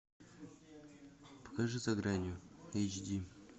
покажи за гранью эйч ди